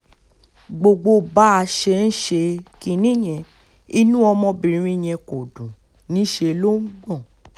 gbogbo bá a ṣe ń ṣe kinní yẹn inú ọmọbìnrin yẹn kò dùn níṣẹ́ ló ń gbọ́n